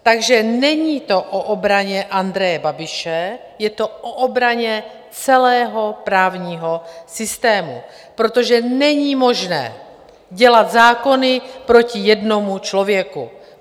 Takže není to o obraně Andreje Babiše, je to o obraně celého právního systému, protože není možné dělat zákony proti jednomu člověku.